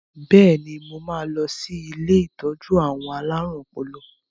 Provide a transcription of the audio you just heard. Bẹ́ẹ̀ni, mo máa lọ sí ilé ìtọ́jú àwọn alárùn ọpọlọ